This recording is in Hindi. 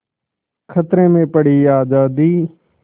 खतरे में पड़ी आज़ादी